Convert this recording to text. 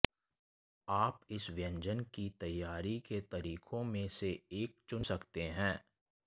आप इस व्यंजन की तैयारी के तरीकों में से एक चुन सकते हैं